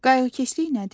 Qayğıkeşlik nədir?